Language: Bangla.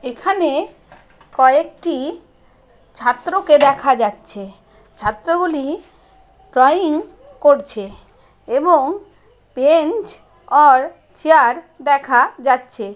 এখানে কয়েকটি ছাত্রকে দেখা যাচ্ছে ছাত্রগুলি ড্রয়িং করছেএবং বেঞ্চ অর চেয়ার দেখাযাচ্ছে।